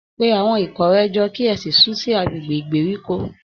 Pe àwọn ikọ̀ rẹ jọ, kí ẹ sì sún sí agbègbè ìgbèríko